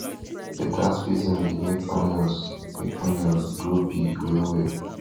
beta spacing dey make onions make onions grow big well well